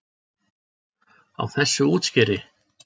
Á þessu útskeri?